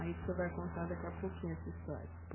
Aí o senhor vai contar daqui a pouquinho essa história.